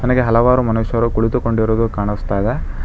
ನನಗೆ ಹಲವಾರು ಮನುಷ್ಯರು ಕುಳಿತುಕೊಂಡಿರುವುದು ಕಾಣಿಸ್ತಾ ಇದೆ.